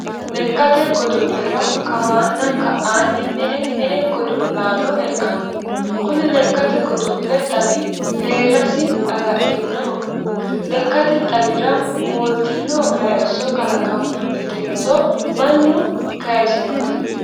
Lekkate godo'lera kawanna ka'anni me'e me'e godo'laanno e'anno ? Kuni Lekkate godo'le xawi deerrasi agadhinoho ? Lekkate xawira mooltino hayisso kalaqammunnitenso mannu kayisinote ?